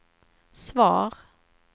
svar